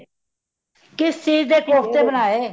ਕਿਸ ਚੀਜ ਦੇ ਕੋਫਤੇ ਬਣਾਏ